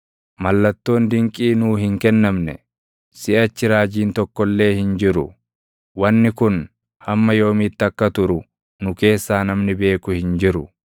Mallattoon dinqii nuu hin kennamne; siʼachi raajiin tokko illee hin jiru; wanni kun hamma yoomiitti akka turu // nu keessaa namni beeku hin jiru.